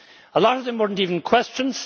a lot of them were not even questions.